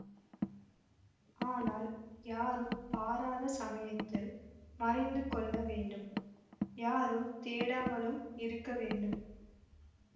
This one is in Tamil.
ஆனால் யாரும் பாராத சமயத்தில் மறைந்து கொள்ள வேண்டும் யாரும் தேடாமலும் இருக்க வேண்டும்